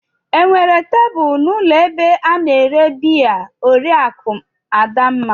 Enwere tebụl n'ụlọ ebe a na-ere biya Oriakụ Adamma?